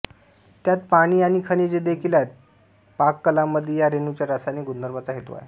त्यात पाणी आणि खनिजे देखील आहेत पाककलामध्ये या रेणूंच्या रासायनिक गुणधर्मांचा हेतू आहे